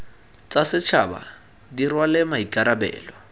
tsa setšhaba di rwale maikarabelo